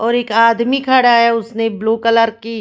और एक आदमी खड़ा हैउसने ब्लू कलर की--